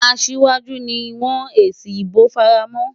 Asiwaju ni wọ́n èsì ìbò fara mọ́.